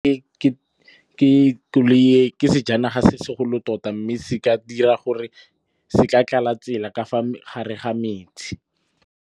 Ke sejanaga se se golo tota mme se ka tlala tsela ka fa gare ga metse.